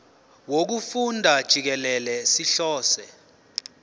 wokufunda jikelele sihlose